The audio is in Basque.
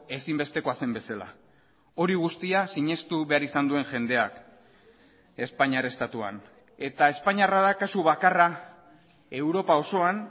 ezinbestekoa zen bezala hori guztia sinestu behar izan duen jendeak espainiar estatuan eta espainiarra da kasu bakarra europa osoan